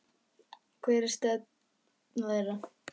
Og hver er nú stefna þeirra?